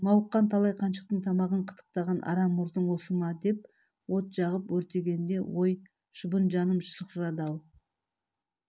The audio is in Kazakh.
мауыққан талай қаншықтың тамағын қытықтаған арам мұртың осы ма деп от жағып өртегенде ой шыбын жаным шырқырады-ау